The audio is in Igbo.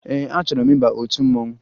Ee, achọrọ m ịba otu mmanwụ